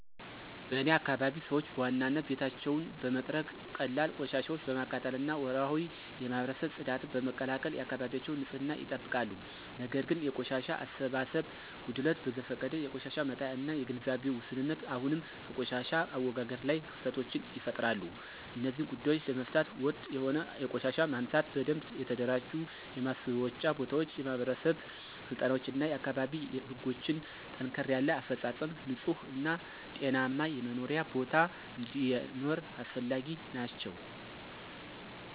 በእኔ አካባቢ ሰዎች በዋናነት ቤታቸውን በመጥረግ፣ ቀላል ቆሻሻ በማቃጠል እና ወርሃዊ የማህበረሰብ ጽዳትን በመቀላቀል የአካባቢያቸውን ንፅህና ይጠብቃሉ። ነገር ግን የቆሻሻ አሰባሰብ ጉድለት፣ በዘፈቀደ የቆሻሻ መጣያ እና የግንዛቤ ውስንነት አሁንም በቆሻሻ አወጋገድ ላይ ክፍተቶችን ይፈጥራሉ። እነዚህን ጉዳዮች ለመፍታት ወጥ የሆነ የቆሻሻ ማንሳት፣ በደንብ የተደራጁ የማስወጫ ቦታዎች፣ የማህበረሰብ ስልጠናዎች እና የአካባቢ ህጎችን ጠንከር ያለ አፈፃፀም ንፁህ እና ጤናማ የመኖሪያ ቦታ እንዲኖር አስፈላጊ ናቸው።